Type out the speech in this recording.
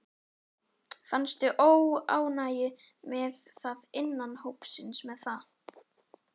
Fannstu óánægju með það innan hópsins með það?